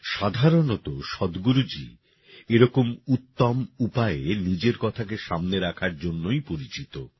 সাধারণত সদগুরুজি এরকম উত্তম উপায়ে নিজের কথাকে সামনে রাখার জন্যই পরিচিত